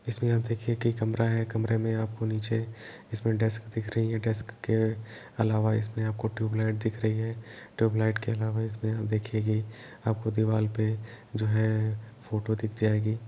इसमें आप देखिए कि कमरा है | कमरे में आपको नीचे इसमे डेस्क दिख रही है डेस्क के अलावा इसमें आपको ट्यूबलाइट दिख रही है ट्यूबलाइट के अलावा इसमें देखिये कि आपको दीवार पे जो है फ़ोटो दिख जाएगी।